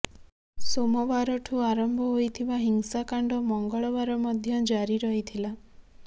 ସୋମବାରଠୁ ଆରମ୍ଭ ହୋଇଥିବା ହିଂସାକାଣ୍ଡ ମଙ୍ଗଳବାର ମଧ୍ୟ ଜାରି ରହିଥିଲା